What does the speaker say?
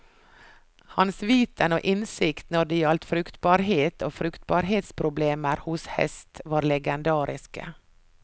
Hans viten og innsikt når det gjaldt fruktbarhet og fruktbarhetsproblemer hos hest var legendariske.